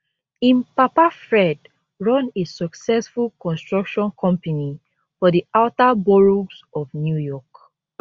im papa fred run a successful construction company for di outer boroughs of new york